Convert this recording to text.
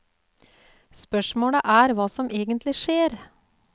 Spørsmålet er hva som egentlig skjer.